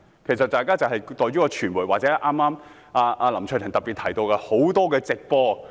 其實在於傳媒，或林卓廷議員剛才提到的很多直播報道。